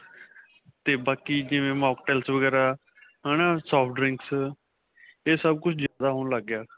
'ਤੇ ਬਾਕੀ ਜਿਵੇਂ mocktails ਵਗੈਰਾਂ ਹੈ ਨਾ, soft drinks ਇਹ ਸਭ ਕੁੱਝ ਜਿਆਦਾ ਹੋਣ ਲੱਗ ਗਿਆ.